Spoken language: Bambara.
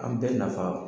An bɛɛ nafa